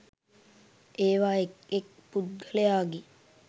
ඒවා එක් එක් පුද්ගලයාගේ